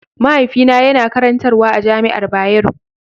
Mahaifina yana karantarwa a jami'ar Bayero.